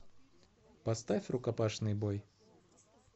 поставь рукопашный бой